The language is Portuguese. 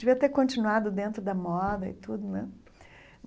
Devia ter continuado dentro da moda e tudo, né?